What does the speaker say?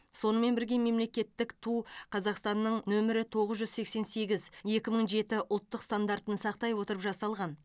сонымен бірге мемлекеттік ту қазақстанның нөмірі тоғыз жүз сексен сегіз екі мың жеті ұлттық стандартын сақтай отырып жасалған